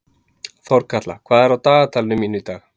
Þorkatla, hvað er á dagatalinu mínu í dag?